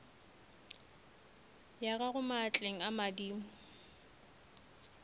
ya gago maatleng a madimo